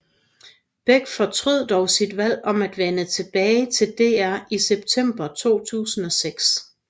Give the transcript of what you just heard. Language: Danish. Beck fortrød dog sit valg om at vende tilbage til DR i september 2006